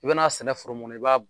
I bɛna sɛnɛ foro mun na i b'a